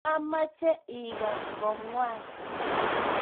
mameche ikas ko ng'wan